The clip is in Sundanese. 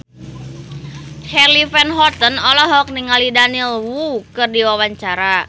Charly Van Houten olohok ningali Daniel Wu keur diwawancara